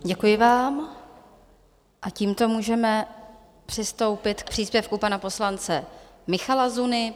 Děkuji vám a tímto můžeme přistoupit k příspěvku pana poslance Michala Zuny.